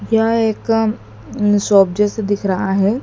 यह एक शॉप जैसा दिख रहा है।